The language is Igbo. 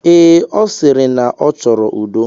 Ee, ọ sịrị na ọ chọrọ udo.